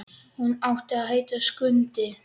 Hann átti að heita Skundi.